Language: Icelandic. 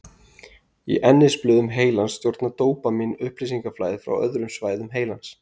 Í ennisblöðum heilans stjórnar dópamín upplýsingaflæði frá öðrum svæðum heilans.